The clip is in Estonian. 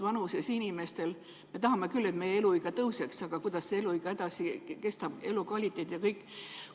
Me tahame küll, et meie eluiga tõuseks, aga kuidas see eluiga edasi kestab, elukvaliteet ja kõik?